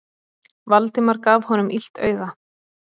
Valdimar gaf honum illt auga.